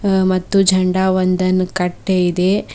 ಆ ಮತ್ತು ಜಂಡ ಒಂದನ್ನು ಕಟ್ಟೆ ಇದೆ.